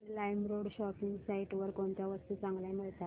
LimeRoad shopping site वर कोणत्या वस्तू चांगल्या मिळतात